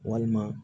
Walima